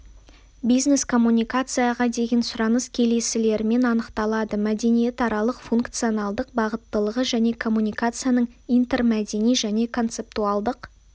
бизнес-коммуникацияға деген сұраныс келесілермен анықталады мәдениетаралық-функционалдық бағыттылығы және коммуникацияның интермәдени және концептуалдық